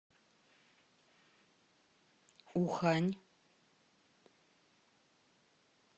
ухань